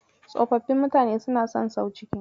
Tsofaffin mutane suna son sau ciki.